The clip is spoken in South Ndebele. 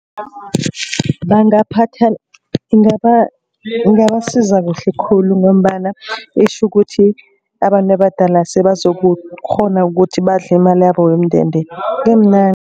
Ingabasiza kuhle khulu. Ngombana itjho ukuthi abantu abadala sebazokukghona ukuthi badle imalabo yomndende